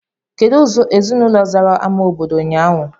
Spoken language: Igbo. Kedụ ezinaụlọ zara ámá obodo ụnyaahụ?